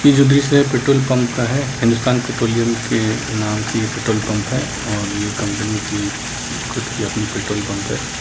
ये जो दृश्य है पेट्रोलपंप का है हिन्दुस्तान पेट्रोलियम के नाम से ये पेट्रोलपंप है और ये कंपनी की खुद की अपनी पेट्रोलपंप है।